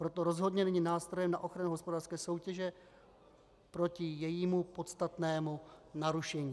Proto rozhodně není nástrojem na ochranu hospodářské soutěže proti jejímu podstatnému narušení.